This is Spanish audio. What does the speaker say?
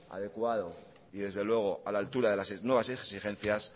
adecuado y desde luego a la altura de las nuevas exigencias